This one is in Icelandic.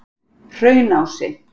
Hraunási